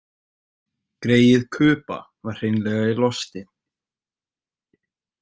Greyið Kuba var hreinlega í losti.